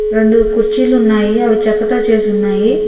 రెండు కుర్చీలు ఉన్నాయి అవి చెక్కతో చేసి ఉన్నాయి.